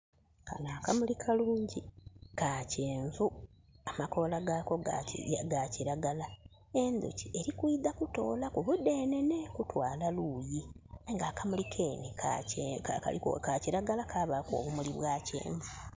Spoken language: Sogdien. Kano akamuli kalungi ka kyenvu amakoola gaako ga kiragala. Enduki erikwidha kutolaku mudenene kutwala luuyi. Aye nga akamuli kenhe ka kiragala kabaaku obumuli bwa kyenvu